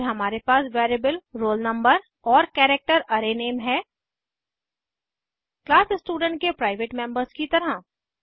फिर हमारे पास वेरिएबल roll no और कैरेक्टर अराय नेम है क्लास स्टूडेंट के प्राइवेट मेम्बर्स की तरह